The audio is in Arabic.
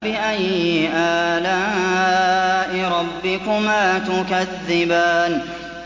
فَبِأَيِّ آلَاءِ رَبِّكُمَا تُكَذِّبَانِ